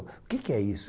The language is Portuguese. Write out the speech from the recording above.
Que que é isso?